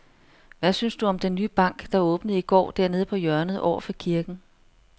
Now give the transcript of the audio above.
Hvad synes du om den nye bank, der åbnede i går dernede på hjørnet over for kirken?